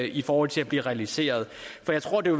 i forhold til at blive realiseret for jeg tror det